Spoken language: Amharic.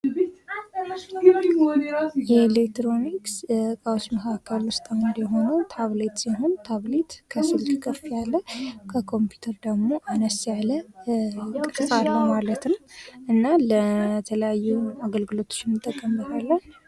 የኤሌክትሮኒክስ እቃዎች መካከል ውስጥ የሆነው ታብሌት ሲሆን ታብሌት ከስልክ ከፍ ያለ ከኮምፒውተር ደግሞ አነስ ያለ ቅርጽ አለው ማለት ነው እና ለተለያዩ አገልግሎቶች እንድንጠቀምበታለን።